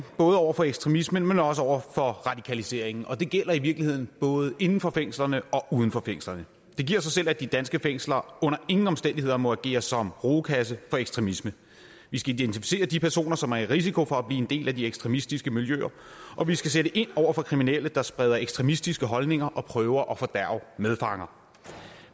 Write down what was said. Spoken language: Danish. både over for ekstremismen men også over for radikaliseringen og det gælder i virkeligheden både inden for fængslerne og uden for fængslerne det giver sig selv at de danske fængsler under ingen omstændigheder må agere som rugekasser for ekstremisme vi skal identificere de personer som er i risiko for at blive en del af de ekstremistiske miljøer og vi skal sætte ind over for kriminelle der spreder ekstremistiske holdninger og prøver at fordærve medfanger